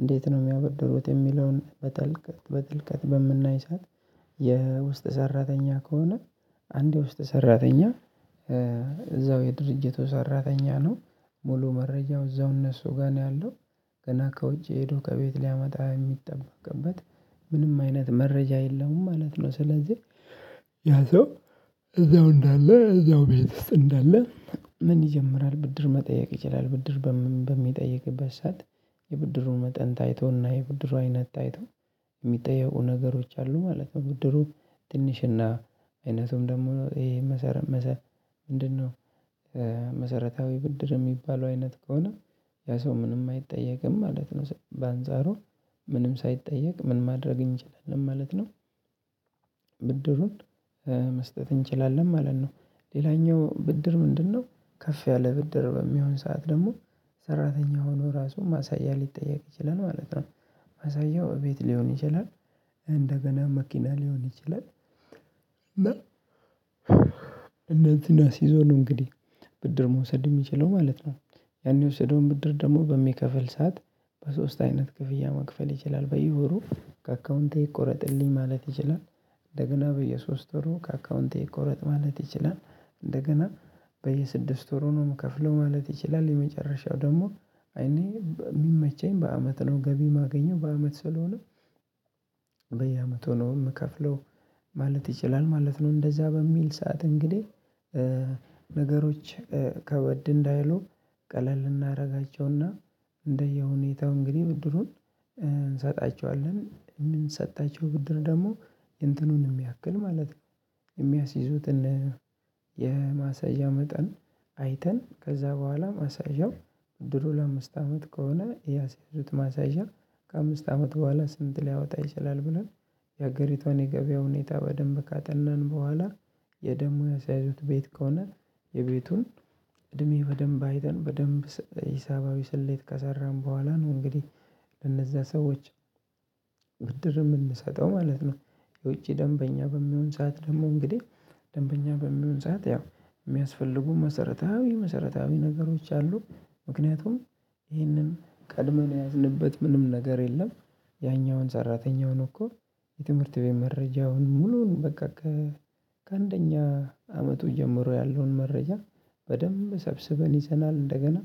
እንዴት ነው እሚያበድሩት እሚለውን በጥልቀት በምናይ ሰዓት። ሰራተኛ ከሆነ አንድ የውስጥ ሰራተኛ እዛው የድርጅቱ ሰራተኛ ነው ሙሉ መረጃው እዛው እነሱ ጋር ነው ያለው ገና ከውጪ ሄዶ ከቤት ሊያመጣ የሚጠበቅበት ምንም አይነት መረጃ የለውም ማለት ነው። ስለዚህ ያ ሰው እዛው እንዳለ እዛው ቤት ውስጥ እንዳለ ምን ይጀምራል ብድር መጠየቅ ይችላል ብድር በሚጠይቅበት ሰዓት። የብድሩን መጠን ታይቶና የብድሩ አይነት ታይቶ እሚጠየቁ ነገሮች አሉ ማለት ነው። ብድሩ ትንሽና አይነቱም ደግሞ ይሄ መሰረት ምንድነው? መሰረታዊ ብድር የሚባለው አይነት ከሆነ ያ ሰው ምንም አይጠየቅም ማለት ነው። በአንጻሩ ምንም ሳይጠየቅ ምን ማድረግ እንችላለን ማለት ነው። ብድሩን መስጠት እንችላለን ማለት ነው። ሌላኛው ብድር ምንድነው? ከፍ ያለ ብድር በሚሆን ሰዓት ደግሞ ሰራተኛ ሆኖ ራሱን ማሳያ ሊጠየቅ ይችላል ማለት ነው። ማሳያው እቤት ሊሆን ይችላል። እንደገና መኪና ሊሆን ይችላል። እና እነዚህን አሲዞ እንግዲህ ብድር መውሰድ እሚችለው ማለት ነው። ያን የወሰደውን ብድር ደግሞ በሚከፈል ሰዓት በሶስት አይነት ክፍያ መክፈል ይችላል በየወሩ ወሩ ከአካውንቴ ይቆረጥልኝ ማለት ይችላል። እንደገና በየሶስት ወሩ ከአካውንቴ ይቆረጥ ማለት ይችላል እንደገና በየስድስት ወር ነው እምከፍለው ማለት ይችላል። የመጨረሻው ደግሞ እኔ የሚመቸኝ በአመት ነው ገቢ የማገኘው በአመት ስለሆነ በየአመቱ ነው እምከፍለው ማለት ይችላል ማለት ነው። እንደዛ በሚል ሰዓት እንግዲህ ነገሮች ከበድ እንዳይሉ ቀለል እናደርጋቸውና እንደየሁኔታው እንግዲህ ብድሩን እንሰጣቸዋለን የምንሰጣቸው ብድር ደግሞ እንትኑን የሚያክል ማለት ነው። የሚያስይዙትን የማሳያ መጠን አይተን ከዛ በኋላ ማሳያው ድሮ ለአምስት አመት ከሆነ ያስያዙት ማሳያ ከአምስት አመት በኋላ ስንት ሊያወጣ ይችላል። ብለን የሀገሪቷን የገበያ ሁኔታ በደንብ ካጠናን በኋላ ወይም ደግሞ የሰያዙት ቤት ከሆነ የቤቱን እድሜ በደንብ አይተን በደንብ ሂሳባዊ ስሌት ከሰራን በኋላ ነው እንግዲህ ለነዛ ሰዎች ብድር እምንሰጠው ማለት ነው። የውጪ ደንበኛ በሚሆን ሰዓት ደግሞ እንግዲህ ደንበኛ በሚሆን ሰዓት ያው የሚያስፈልጉ መሰረታዊ መሰረታዊ ነገሮች አሉ። ምክንያቱም ይህንን ቀድመን ያዝንበት ምንም ነገር የለም። ያኛውን ሰራተኛውን እኮ የትምህርት ቤት መረጃውን ሙሉውን በቃ ከአንደኛ አመቱ ጀምሮ ያለውን መረጃ በደንብ ሰብስበን ይዘናል። እንደገና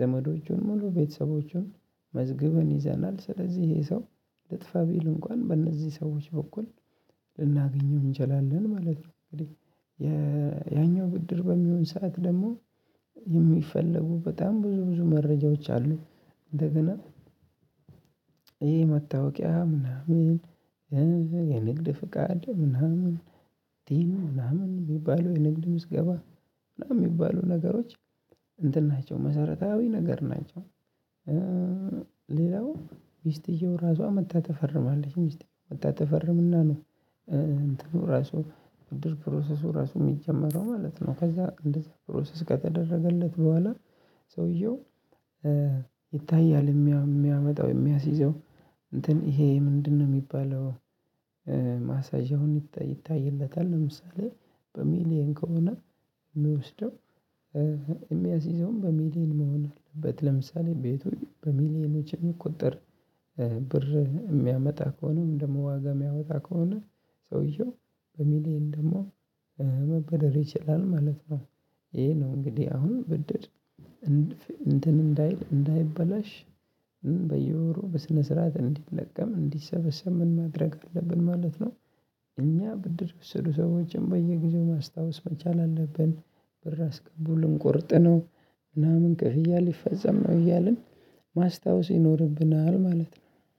ዘመዶቹን ሙሉ ቤተሰቦቹን መዝገበን ይዘናል ስለዚህ ይሄ ሰው ልጥፋ ቢል እንኳን በእነዚህ ሰዎች በኩል ልናገኘው እንችላለን ማለት ነው። እንግዲህ ያኛው ብድር በሚሆን ሰዓት ደግሞ የሚፈለጉ በጣም ብዙ ብዙ መረጃዎች አሉ። እንደገና ይሄ መታወቂያ ምናምን የንግድ ፍቃድ ምናምን ይሄ ምናምን እሚባለው የንግድ ምዝገባ ምናምን የሚባሉ ነገሮች ናቸው መሰረታዊ ነገር ናቸው። ሌላው ሚስትየው ራሷ መጣ ትፈርማለች ሚስቴ መጣ ትፈርምና ነው። እንትኑ ራሱ ድርጅት ፕሮሰሱ ራሱ እሚጀመረው ማለት ነው። ከዛ እንደዛ ፕሮሰስ ከተደረገለት በኋላ። ሰውየው ይታያል የሚያመጣው የሚያስይዘው እንትን ይሄ ምንድነው እሚባለው? ማሳጅ ይታይለታል። ለምሳሌ በሚሊየን ከሆነ እሚወስደው የሚያስይዘውም በሚሊየን መሆን አለበት። ለምሳሌ ቤቱ በሚሊየኖች ቁጥር ብር የሚያመጣ ከሆነም ደግሞ ዋጋ የሚያወጣ ከሆነ ሰውየው በሚሊየን ደግሞ መበደር ይችላል ማለት ነው። ይሄ ነው እንግዲህ አሁን ብድር እንትን እንዳይል እንዳይበላሽ በየወሩ በስነ ስርዓት እንዲለቀም እንዲሰበሰብ ምን ማድረግ አለብን ማለት ነው። እኛ ብድር ስሩ ሰዎችን በየጊዜው ማስታወስ መቻል አለብን። ብር አስቀምጡልን ቆርጠነው ምናምን እንቅልፍ እያልን ይፈጸም ነው እያልን ማስታወስ ይኖርብናል ማለት ነው